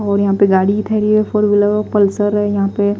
और यहाँ पे गाड़ी धरी है फोर व्हीलर और पल्सर है यहाँ पे।